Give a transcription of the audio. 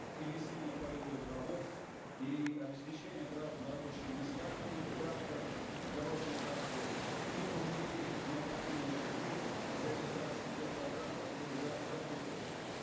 и весенне полевых работ и обеспечения граждан рабочими местами в рамках дорожной карты и другие необходимые шаги в реализации тех программ которые уже работают